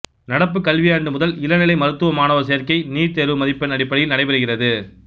நடப்பு கல்வியாண்டு முதல் இளநிலை மருத்துவ மாணவர் சேர்க்கை நீட் தேர்வு மதிப்பெண் அடிப்படையில் நடைபெறுகிறது